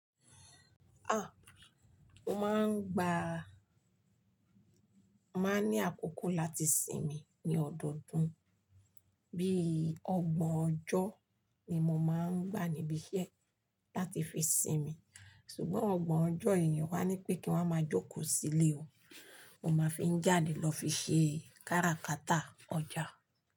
Ah! Mo máa ń gba, màá ní àkókò láti sinmi ní ọdọọdún. Bí i ọgbọ̀n ọjọ́ ni mo máa ń gba nibi iṣẹ́ láti fi sinmi. Ṣùgbọ́n ọgbọ̀n ọjọ́ èyí, wàá ní pé kí n máa jókòó sílé o, mo máa fi ń jáde lọ fi ṣe kára kata ọjà.